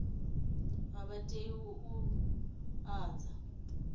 a vha tei u ḓadza